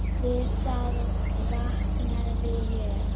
Við það vaknaði ég.